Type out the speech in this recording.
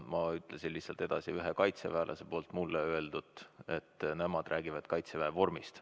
Ma ütlesin lihtsalt edasi, mis üks kaitseväelane mulle ütles: nemad räägivad Kaitseväe vormist.